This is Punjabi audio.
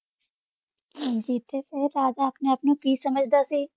ਹਾਂਜੀ ਤੇ ਊ ਰਾਜਾ ਅਪਨੇ ਆਪ ਨੂ ਕੀ ਸਮਝਦਾ ਸੀ